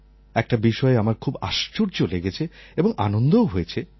একটা বিষয়ে আমার খুব আশ্চর্য লেগেছে এবং আনন্দও হয়েছে